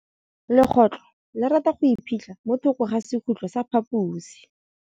Legôtlô le rata go iphitlha mo thokô ga sekhutlo sa phaposi.